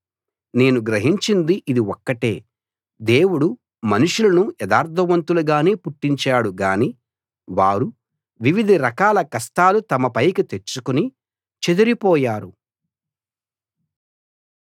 నేను గ్రహించింది ఇది ఒక్కటే దేవుడు మనుషులను యథార్థవంతులుగానే పుట్టించాడు గాని వారు వివిధ రకాల కష్టాలు తమ పైకి తెచ్చుకుని చెదరిపోయారు